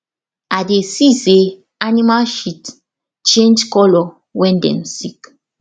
i dey see say animal shit change color when dem sick